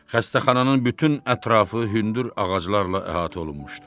Xəstəxananın bütün ətrafı hündür ağaclarla əhatə olunmuşdu.